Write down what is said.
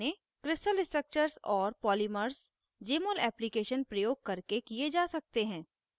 * crystal structures और polymers jmol application प्रयोग करके किये जा सकते हैं